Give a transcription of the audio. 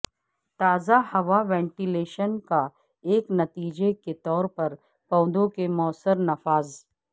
تازہ ہوا وینٹیلیشن کا ایک نتیجہ کے طور پر پودوں کے موثر نفاذ